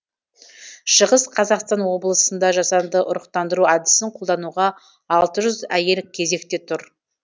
шығыс қазақстан облысында жасанды ұрықтандыру әдісін қолдануға алты жүз әйел кезекте тұр